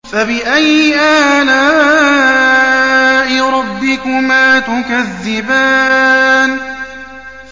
فَبِأَيِّ آلَاءِ رَبِّكُمَا تُكَذِّبَانِ